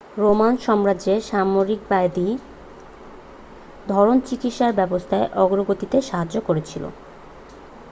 Roman সাম্রাজ্যের সামরিকবাদী ধরণ চিকিৎসা ব্যবস্থার অগ্রগতিতে সহায়তা করেছিল